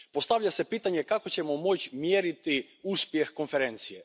Postavlja se pitanje kako ćemo moći mjeriti uspjeh Konferencije.